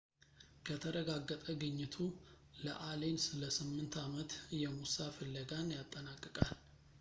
ከተረጋገጠ ግኝቱ ለአሌን ለስምንት ዓመት የሙሳ ፍለጋን ያጠናቅቃል